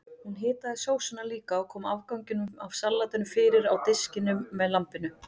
Hún hitaði sósuna líka og kom afganginum af salatinu fyrir á diskunum með lambinu.